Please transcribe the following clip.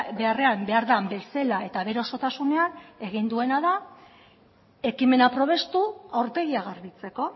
beharrean behar den bezala eta bere osotasunean egin duena da ekimena probestu aurpegia garbitzeko